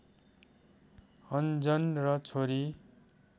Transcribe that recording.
अन्जन र छोरी